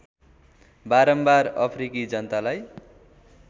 बारम्बार अफ्रिकी जनतालाई